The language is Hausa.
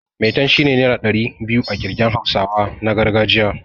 Maitan' shine naira ɗari biyu a ƙirgen hausawa na gargajiya.